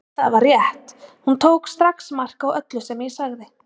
Og það var rétt, hún tók strax mark á öllu sem ég sagði.